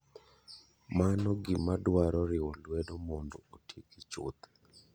Mano gima dwaro riwo luedo mondo otieki chuth.